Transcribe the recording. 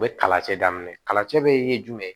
U bɛ kalacɛ daminɛ kalancɛ bɛ ye jumɛn ye